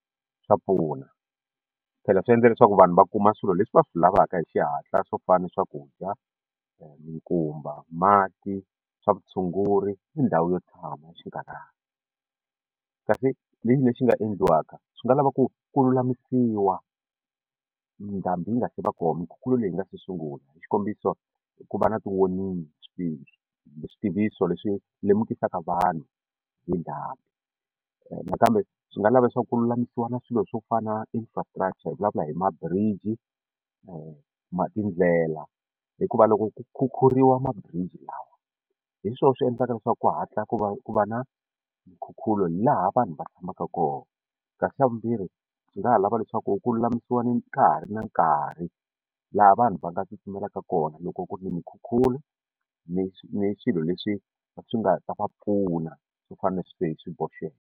Swa pfuna phela swi endla leswaku vanhu va kuma swilo leswi va swi lavaka hi xihatla swo fana na swakudya minkumba mati swa vutshunguri ni ndhawu yo tshama ya xinkarhana kasi lexi nga endliwaka swi nga lava ku ku lulamisiwa ndhambi yi nga se va kona mikhukhulo leyi nga sungula hi xikombiso ku va na ti-warning switiviso leswi lemukisaka vanhu hi ndhambi nakambe swi nga lava leswaku ku lulamisiwa na swilo swo fana infrastructure hi vulavula hi ma-bridge na tindlela hikuva loko ku khukhuriwa ma-bridge lawa hi swona swi endlaka leswaku ku hatla ku va ku va na nkhukhulo laha vanhu va tshamaka kona kasi xa vumbirhi swi nga ha lava leswaku ku lulamisiwa nkarhi na nkarhi laha vanhu va nga tsutsumelaka kona loko ku ri ni minkhukhulo ni ni swilo leswi swi nga ta va pfuna swo fana na sweswi hi swi boxeke.